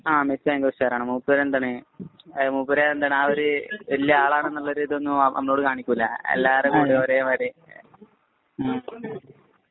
ആ മെസ്സി ഭയങ്കര ഉഷാറാണ്. മൂപ്പര് എന്താണ്, മൂപ്പര് വല്യ ആളാണ് എന്ന ഒരു ഇതെന്നും നമ്മളോട് കാണിക്കുകയില്ല.എല്ലാവരോടും ഒരേ മാതിരി